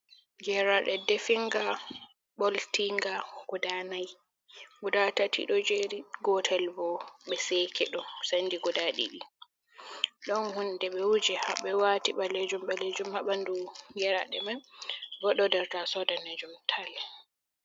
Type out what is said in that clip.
Geraɗe definga ɓoltinga guda nai guda tati ɗo jeri gotel bo ɓe sekeɗum sendi guda ɗiɗi ɗon hunde ɓe wuji ha ɓe wati ɓalejum ɓalejum ha ɓandu geraɗe mai bo ɗo nder taso danejum tal.